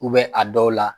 a dɔw la